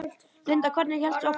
Linda: Hvernig hélstu áfram?